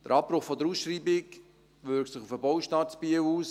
Der Abbruch der Ausschreibung wirkt sich auf den Baustart in Biel aus.